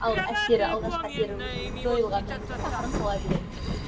ал әсері алғашқы әсері уже жойылғаннан кейін ақырын қала береді